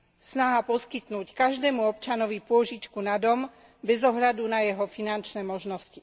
Snaha poskytnúť každému občanovi pôžičku na dom, bez ohľadu na jeho finančné možnosti.